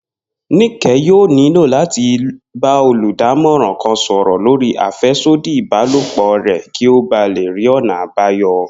Níke̩ yóò nílò láti ba olùdámo̩ràn kan sò̩rò̩ lórí àfé̩sódì ìbálòpò rè̩ kí ó ba lè rí ò̩nà àbáyo̩